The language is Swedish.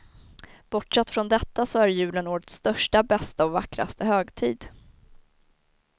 Bortsett från detta så är julen årets största, bästa och vackraste högtid.